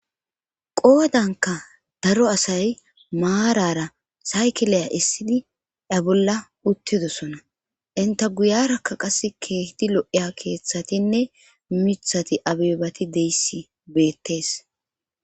qoodankka daro asay maarara saykiliya essidi a bolla uttidosona enta guyarakka qassi keehidi lo7iya keeththatinne mithati abeebati deyissi beettes.